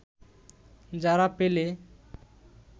যারা পেলে